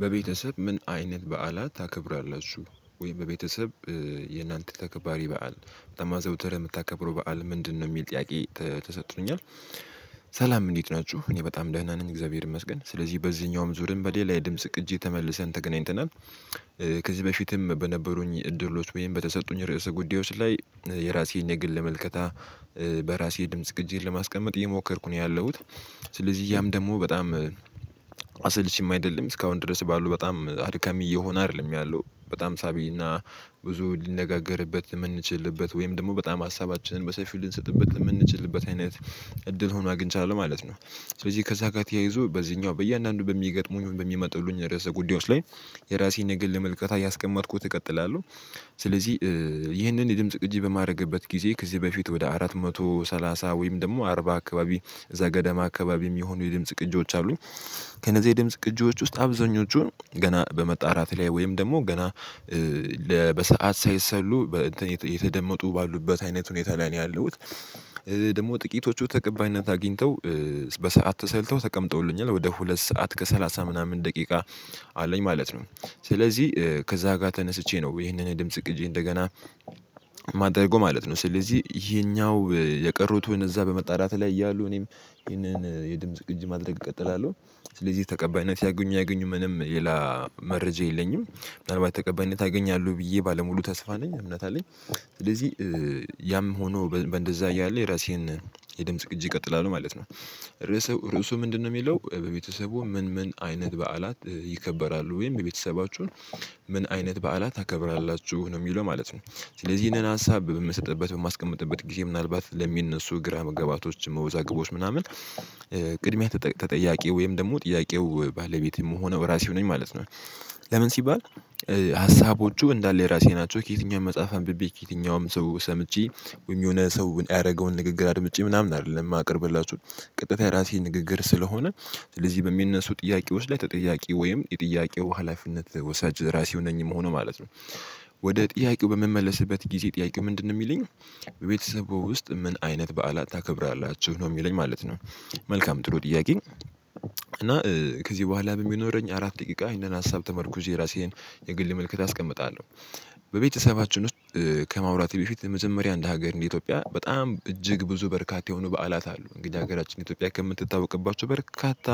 በቤተሰብ ምን አይነት በዓላት ታከብራለህ እሱ ወይም በቤተሰብ የእናንተ ተከባሪ በዓል በጣም አዘውትረህ የምታከብረው በዓል ምንድነው የሚል ጥያቄ ተሰጥቶኛል። ሰላም እንዴት ናችሁ እኔ በጣም ደህና ነኝ እግዚአብሔር ይመስገን። ስለዚህ በዚህኛውም ዙርም በሌላ የድምጽ ቅጂ ተመልሰን ተገናኝተናል። ከዚህ በፊትም በነበሩኝ እድሎች ወይም በተሰጡኝ ርዕሰ ጉዳዮች ላይ የራሴን ንግድ ለመመልከት በራሴ ድምጽ ለማስቀመጥ እየሞከርኩ ነው ያለሁት። ስለዚህ ያም ደግሞ በጣም አሰልቺም አይደለም እስካሁን ድረስ ባሉ በጣም አድካሚ እየሆነ አይደለም ያለው በጣም ሳቢና ብዙ ሊነጋገርበት የምንችልበት ወይም ደግሞ በጣም ሀሳባችንን በሰፊው ልንሰጥበት የምንችልበት አይነት እድል ሆኖ አግኝቻለሁ ማለት ነው። ስለዚህ ከዛ ጋር ተያይዞ በዚህኛው በእያንዳንዱ በሚገጥሙኝ በሚመጥሉኝ ርዕሰ ጉዳዮች ላይ የራሴን ንግል መልከታ እያስቀመጥኩት እቀጥላለሁ። ስለዚህ ይህንን የድምጽ ቅጂ በማድረግበት ጊዜ ከዚህ በፊት ወደ አራት መቶ ሰላሳ ወይም ደግሞ አርባ አካባቢ ገደም አካባቢ የሚሆኑ የድምጽ ቅጂዎች አሉኝ። ከነዚህ የድምጽ ቅጂዎች ውስጥ አብዛኞቹን ገና በመጣራት ላይ ወይም ደግሞ ገና በሰአት ሳይሰሉ የተደመጡ ባሉበት አይነት ሁኔታ ላይ ነው ያለው። ደግሞ ጥቂቶቹ ተቀባይነት አግኝተው በሰአት ተሰልተው ተቀምጠውልኛል ወደ ሁለት ሰዓት ከሰላሳ ምናምን ደቂቃ አለኝ ማለት ነው። ስለዚህ ከዛ ጋር ተነስቼ ነው ይሄንን ድምጽ ቅጂ እንደገና የማደርገው ማለት ነው። ስለዚህ የኛው የቀሩትን እዛ በመጣራት ላይ ያሉ እኔም ይህንን የድምጽ ቅጅ ማድረግ እቀጥላለሁ። ስለዚህ ተቀባይነት ያገኙ ያገኙ ምንም የላ መረጃ የለኝም። ምናልባት ተቀባይነት አገኛለሁ ብዬ ባለሙሉ ተስፋ ነኝ እምነት አለኝ። ስለዚህ ያም ሆኖ እንደዛ ያለ የራሴን የድምጽ ቅጂ እቀጥላለሁ ማለት ነው። ርዕሱ ምንድነው የሚለው በቤተሰቡ ምን ምን አይነት በዓላት ይከበራሉ ወይም የቤተሰባችሁን ምን አይነት በዓላት ታከብራላችሁ ነው የሚለው ማለት ነው። ስለዚህ ይሄንን ሀሳብ በምሰጥበት በማስቀምጥበት ጊዜ ምናልባት ለሚነሱ ግራ መገባቶች መወዛቀቦች ምናምን ተጠያቂ ወይም ደግሞ ጥያቄው ባለቤት የምሆነው ራሴው ነኝ ማለት ነው። ለምን ሲባል ሀሳቦቹ እንዳለ የራሴ ናቸው ከየትኛውም መጽሐፍ አንብቤ ከየትኛውም ሰው ሰምቼ የሆነ ሰው የሚያደርገውን ንግግር አድምጬ ምናምን አይደለም የማቀርብላችሁ። ቅጥተኛ ራሴ ንግግር ስለሆነ ስለዚህ በሚነሱ ጥያቄ ውስጥ ላይ ተጠያቂ ወይም የጥያቄው ሀላፊነት ወሳጅ ራሴ ነኝ መሆኑ ማለት ነው። ወደ ጥያቄው በምመለስበት ጊዜ ጥያቄ ምንድነው የሚለኝ በቤተሰቡ ውስጥ ምን አይነት በዓላት ታከብራላችሁ ነው የሚለኝ ማለት ነው። መልካም ጥሩ ጥያቄ። እና ከዚህ በኋላ በሚኖረኝ አራት ደቂቃ ይሄንን ሀሳብ ተመርኩዞ የራሴን የግል ምልክት አስቀምጣለሁ። በቤተሰባችን ውስጥ ከማውራት በፊት የመጀመሪያ አንድ ሀገር እንደ ኢትዮጵያ በጣም እጅግ ብዙ በርካታ የሆኑ በዓላት አሉ እንግዲህ ሀገራችን ኢትዮጵያ ከምትታወቅባቸው በርካታ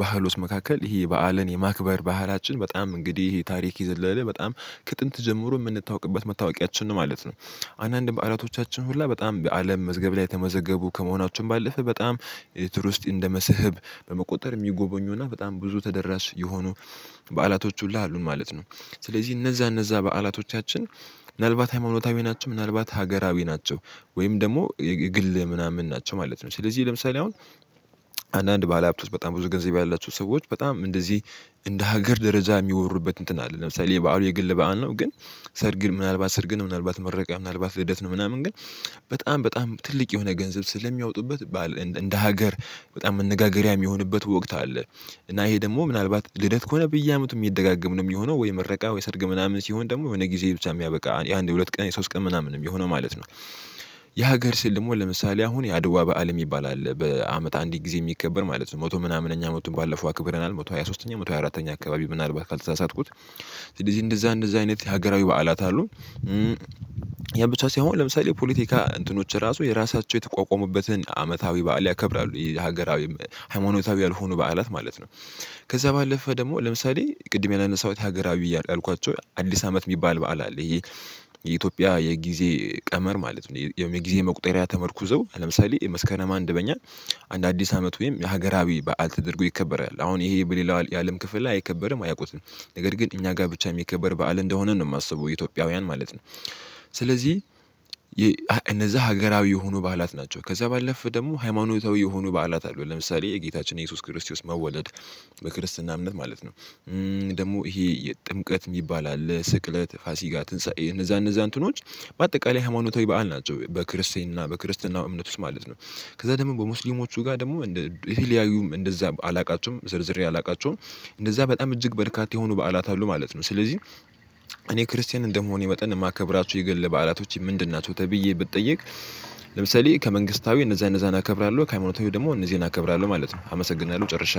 ባህሎች መካከል ይሄ በዓልን የማክበር ባህላችን በጣም እንግዲህ ታሪክ የዘለለ በጣም ከጥንት ጀምሮ የምንታወቅበት መታወቂያችን ነው ማለት ነው። አንዳንድ በዓላቶቻችን ሁላ በጣም በአለም መዝገብ ላይ የተመዘገቡ ከመሆናቸውም ባለፈ በጣም ኤሌክትሩ ውስጥ እንደመስህብ በመቆጠር የሚጎበኙና በጣም ብዙ ተደራሽ የሆኑ በዓላቶች ሁሉ አሉን ማለት ነው። ስለዚህ እነዛ እነዛ በዓላቶቻችን ምናልባት ሃይማኖታዊ ናቸው ምናልባት ሀገራዊ ናቸው። ወይም ደግሞ የግል ምናምን ናቸው ማለት ነው። ስለዚህ ለምሳሌ አሁን አንዳንድ ባለሀብቶች በጣም ብዙ ገንዘብ ያላቸው ሰዎች በጣም እንደዚህ እንደ ሀገር ደረጃ የሚወሩበት እንትን አለ። ለምሳሌ የባህሩ የግል በዓል ነው። ግን ሰርግን ምናልባት ሰርግን ምናልባት መረቀቅ ምናልባት ልደት ነው ምናምን ግን በጣም በጣም ትልቅ የሆነ ገንዘብ ስለሚያወጡበት ባል እንደ ሀገር በጣም መነጋገሪያ የሚሆንበት ወቅት አለ። እና ይሄ ደግሞ ምናልባት ልደት ከሆነ በየአመቱ የሚደጋገም ነው የሚሆነው ወይ ምረቃ ወይ ሰርግ ምናምን ሲሆን ደግሞ ወይ ጊዜ ብቻ የሚያበቃ ያንድ የሁለት ቀን የሶስት ቀን ምናምን የሚሆነው ማለት ነው። የሀገር ስል ደግሞ ለምሳሌ አሁን የአድዋ በዓል የሚባል አለ በአመት አንድ ጊዜ የሚከበር ማለት ነው። መቶ ምናምን እኛ አመቱን ቱን ባለፈው አክብረናል መቶ ሃያ ሶሥተኛ መቶ ሃያ አራተኛ አካባቢ ምናልባት ካልተሳሳትኩት ስለዚህ እንደዛ እንደዛ አይነት የሀገራዊ በዓላት አሉ። ያን ብቻ ሳይሆን ለምሳሌ ፖለቲካ እንትኖች ራሱ የራሳቸው የተቋቋመበትን አመታዊ በዓል ያከብራሉ ሀገራዊም ሃይማኖታዊ ያልሆኑ በዓላት ማለት ነው። ከዛ ባለፈ ደግሞ ለምሳሌ ቅድም ያለን ሰውታ ሀገራዊ እያሉ ያልኳቸው አዲስ አመት የሚባል በዓል አለ። ይሄ የኢትዮጵያ የጊዜ ቀመር ማለት ነው። የጊዜ መቁጠሪያ ተመርኩዘው ለምሳሌ የመስከረም አንድ በኛ አንድ አዲስ አመት ወይም የሀገራዊ በዓል ተደርጎ ይከበራል። አሁን ይሄ በሌላው የአለም ክፍል ላይ አይከበርም አያውቁትም ነገር ግን እኛ ጋር ብቻ የሚከበር በዓል እንደሆነ ነው የማስበው ኢትዮጵያውያን ማለት ነው። ስለዚህ እነዛ ሀገራዊ የሆኑ ባላት ናቸው። ከዛ ባለፈ ደግሞ ሃይማኖታዊ የሆኑ በዓላት አሉ። ለምሳሌ የጌታችን የኢየሱስ ክርስቲያን መወለድ በክርስትና እምነት ማለት ነው። ደግሞ ይሄ ጥምቀት የሚባል አለ ስቅለት ፋሲጋ ትንሳኤ እነዛ እነዛ እንትኖች በአጠቃላይ ሃይማኖታዊ በዓል ናቸው። በክርስቲያና በክርስትና እምነት ውስጥ ማለት ነው። ከዛ ደግሞ በሙስሊሞቹ ጋር ደግሞ እንደ የተለያዩም እንደዛ አላውቃቸውም ስዘረዝር ያላውቃቸውም እንደዛ በጣም እጅግ በርካታ የሆኑ በዓላት አሉ ማለት ነው። ስለዚህ እኔ ክርስቲያን እንደመሆኔ ወጠን የማከብራችሁ የገን ለባህላቶች ምንድን ናቸው ተብዬ ብትጠይቅ። ለምሳሌ ከመንግስታዊ እነዛ እነዛ እናከብራለሁ ከሃይማኖታዊ ደግሞ እነዚህን እናከብራለሁ ማለት ነው። አመሰግናለሁ ጨርሻለሁ